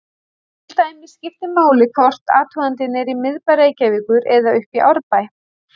Til dæmis skiptir máli hvort athugandinn er í miðbæ Reykjavíkur eða uppi í Árbæ.